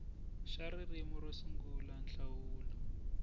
xa ririmi ro sungula nhlawulo